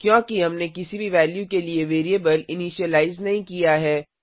क्योंकि हमने किसी भी वैल्यू के लिए वेरिएबल इनीशिलाइज नहीं किया है